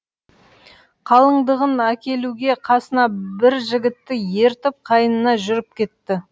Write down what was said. қалыңдығын әкелуге касына бір жігітті ертіп қайынына жүріп кетті